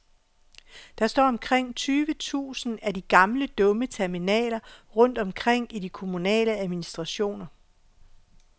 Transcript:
Der står omkring tyve tusind af de gamle dumme terminaler rundt omkring i de kommunale administrationer.